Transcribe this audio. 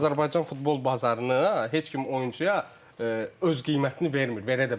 Azərbaycan futbol bazarını heç kim oyunçuya öz qiymətini vermir, verə də bilməz.